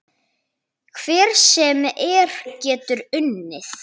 Hver sem er getur unnið.